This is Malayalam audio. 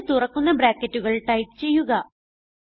രണ്ട് തുറക്കുന്ന ബ്രാക്കറ്റുകൾ ടൈപ്പ് ചെയ്യുക